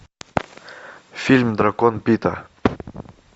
фильм дракон пита